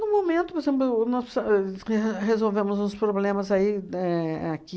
No momento, por exemplo, nós re resolvemos uns problemas aí éh aqui.